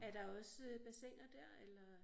Er der også bassiner der eller?